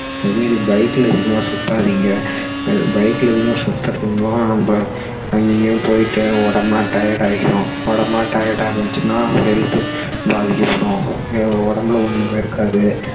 அதே மாதிரி bike ல அதிகமா சுத்தாதீங்க bike ல அதிகமா சுத்தறது மூலமா நம்ம அங்க இங்கயும் போயிட்டு உடம்பு எல்லாம் tired ஆகிரும் உடம்பு எல்லாம் tired ஆகிடுச்சுனா health பாதிக்கப்படும் ஹம் உடம்புல ஒண்ணுமே இருக்காது